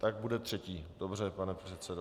Tak bude třetí, dobře, pane předsedo.